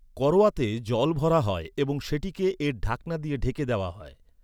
করোয়াতে জল ভরা হয় এবং সেটিকে এর ঢাকনা দিয়ে ঢেকে দেওয়া হয়।